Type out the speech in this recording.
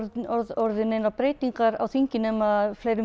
orðið neinar breytingar á þingi nema að fleirum